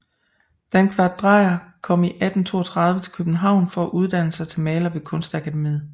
Dankvart Dreyer kom i 1832 til København for at uddanne sig til maler ved Kunstakademiet